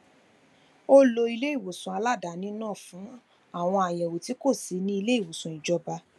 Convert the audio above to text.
ó lo iléìwòsàn aladaáni náà fún àwọn àyẹwò tí kò sí ní iléìwòsàn ìjọba